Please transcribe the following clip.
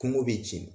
Kungo bɛ jeni